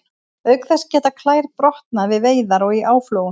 Auk þess geta klær brotnað við veiðar og í áflogum.